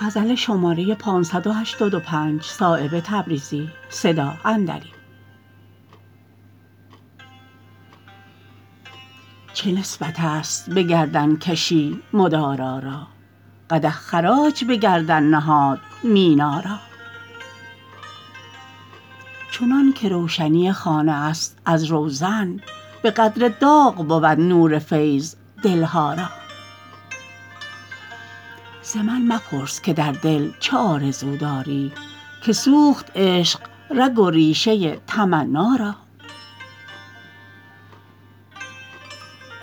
چه نسبت است به گردنکشی مدارا را قدح خراج به گردن نهاد مینا را چنان که روشنی خانه است از روزن به قدر داغ بود نور فیض دلها را ز من مپرس که در دل چه آرزو داری که سوخت عشق رگ و ریشه تمنا را